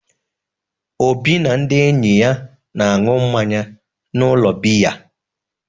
Obi na ndị enyi ya na-aṅụ mmanya n’ụlọ biya.